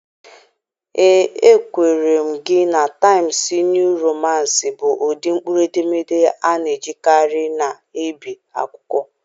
Ee, ekwenyere m gị na Taịmsịị Nịuu Romansị bụ ụdị mkpụrụedemede a na-ejikarị na-ebi akwụkwọ.